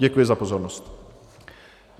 Děkuji za pozornost.